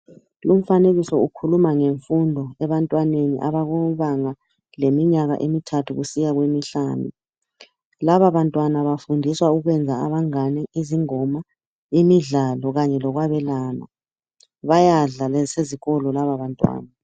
Umfanekiso ukhuluma ngemfundo ebantwaneni abakubanga leminyaka emithathu kusiya kwemihlanu. Laba bantwana bafundiswa ukwenza abangane, izingoma, imidlalo kanye lokwabelana. Bayadla lasezikolo lababantwana.